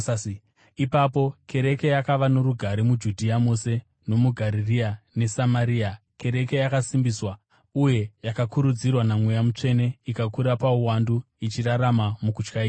Ipapo kereke yakava norugare muJudhea mose, nomuGarirea neSamaria. Kereke yakasimbiswa; uye yakakurudzirwa naMweya Mutsvene, ikakura pauwandu, ichirarama mukutya Ishe.